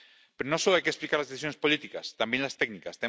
Pero no solo hay que explicar las decisiones políticas también las técnicas.